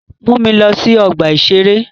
Mu mi lọ sí ọgbà-ìṣeré